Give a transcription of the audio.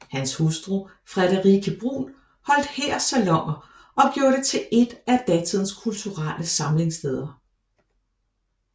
Hans hustru Friederike Brun holdt her saloner og gjorde det til et af datidens kulturelle samlingssteder